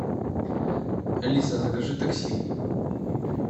алиса закажи такси